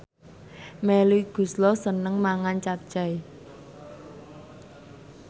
Melly Goeslaw seneng mangan capcay